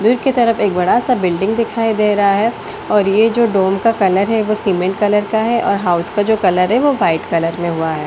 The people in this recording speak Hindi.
दूर की तरफ एक बड़ा सा बिल्डिंग दिखाई दे रहा है और ये जो डोम का कलर है वो सीमेंट कलर का है और हाउस का जो कलर है वो वाइट कलर में हुआ है।